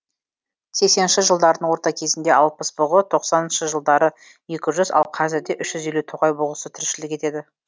сексенінші жылдардың орта кезінде алпыс бұғы тоқсаныншы жылдары екі жүз ал қазірде үш жүз елу тоғай бұғысы тіршілік етеді